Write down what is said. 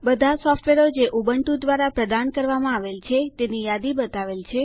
બધા સોફ્ટવેરો જે ઉબુન્ટુ દ્વારા પ્રદાન કરવામાં આવેલ છે તેની યાદી બતાવેલ છે